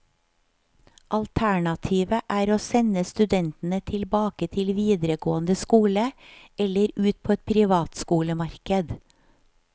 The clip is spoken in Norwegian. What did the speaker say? Alternativet er å sende studentene tilbake til videregående skole, eller ut på et privatskolemarked.